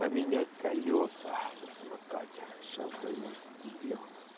поменять колеса на самокате сейчас займусь этим делом